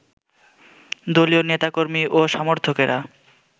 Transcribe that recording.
দলীয় নেতাকর্মী ও সমর্থকেরা